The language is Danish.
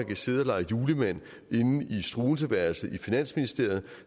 kan sidde og lege julemand inde i struenseeværelset i finansministeriet